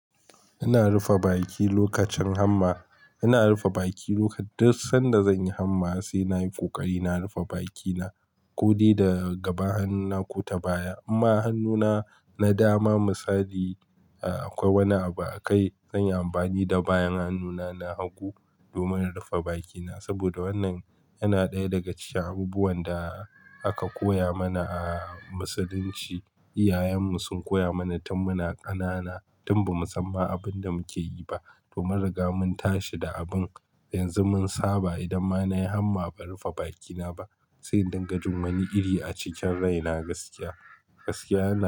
Ina rufe baki lokacin hanma. Ina rufe baki lokacin, duk sanda zan yi hanma sai na yi ƙoƙari na rufe bakina, ko dai da gaba hannuna ko ta baya. Amma hannuna na dama misali, ee akwai wani abu a kai. Zan yi amfani da bayan hannuna na hagu domin rufe bakina. Saboda wannan yana ɗaya daga cikin abubuwan da aka koya mana a Musulunci. Iyayenmu sun koya mana tun muna ƙanana, tun ba mu san ma abin da muke yi ba. Domin riga mun tashi da abun. Yanzu mun saba idan ma na yi hanma ban rufe bakina ba, sai dinga jin wani iri a cikin raina gaskiya. Gaskiya ne.